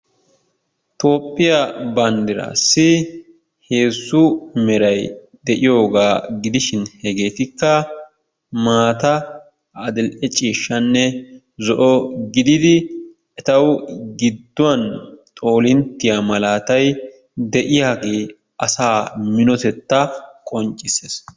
Tophiyaa bandirassi hezzu meray de'iyoga gidishin, hegettika, mattaa, adle cishanne zo'o meraa gididi ettawu giduwan xolinttiya malatay de'iyagee asaa minotetaa qoncisessi.